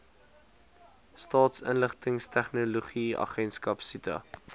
staatsinligtingstegnologie agentskap sita